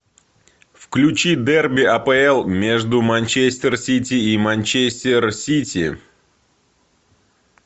включи дерби апл между манчестер сити и манчестер сити